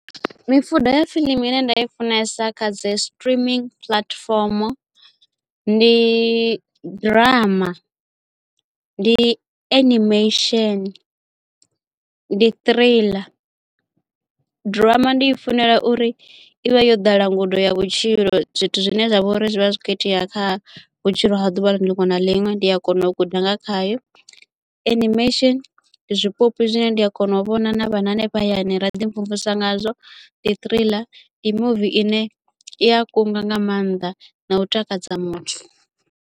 Mifuda ya fiḽimu ine nda i funesa kha dzi streaming puḽatifomo ndi ḓirama ndi animation ndi trailer ḓirama ndi i funela uri ivha yo ḓala ngudo ya vhutshilo zwithu zwine zwa vha uri zwi vha zwi kho itea kha vhutshilo ha ḓuvha liṅwe na liṅwe ndi a kona u guda nga khayo animation ndi zwipoipi zwine ndi a kona u vhona na vhana hanefha hayani ra ḓi mvumvusa ngazwo ndi trailer ndi movie ine i a kunga nga maanḓa na u takadza muthu.